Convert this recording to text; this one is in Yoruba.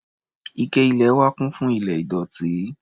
Ike ilẹ̀ wa kún fún ilẹ̀ ìdọ̀tí.